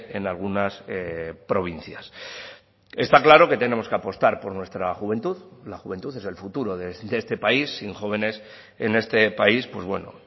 en algunas provincias está claro que tenemos que apostar por nuestra juventud la juventud es el futuro de este país sin jóvenes en este país pues bueno